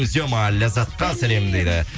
зема ләззатқа сәлем дейді